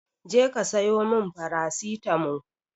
Je ka siyo mun farasitamo